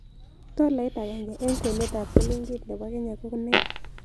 Tolait agenge eng' kwenetap silingit ne po kenya ko nee